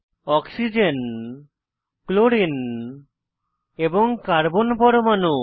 oxygen chlorine এবং carbon পরমাণু